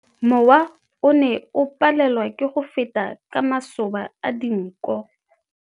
Mowa o ne o palelwa ke go feta ka masoba a dinko.